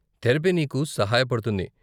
Therapy నీకు సహాయపడుతుంది.